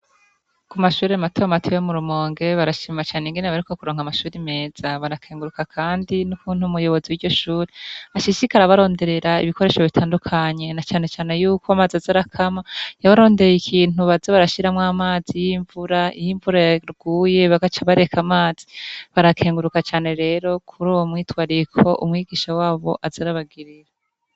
Ku mashure mato mato yo mu Rumonge, barashima cane ingene baheruka kuronka amashure meza. Barakenguruka kandi n'ukuntu umuyobozi w'iryo shure, ashishikara abaronderera ibikoresho bitandukanye, na cane cane yuko amazi aza arakama, yarabarondereye ikintu baza barashiramwo amazi y'imvura, iyo imvura yaguye, bagaca bareka amazi. Barakenguruka cane rero, kuruwo mwitwarariko umwigisha wabo aza arabagirira.